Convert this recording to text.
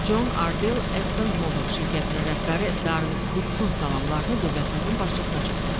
Con Ardel Exxon Mobil şirkətinin rəhbəri Darren Woodson salamlarını dövlətimizin başçısına çatdırdı.